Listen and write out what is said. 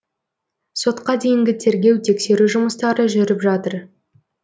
сотқа дейінгі тергеу тексеру жұмыстары жүріп жатыр